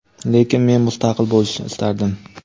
lekin men mustaqil bo‘lishni istardim.